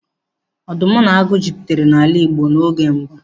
Ọdụm na agụ jupụtara n'ala Igbo n'oge mbụ.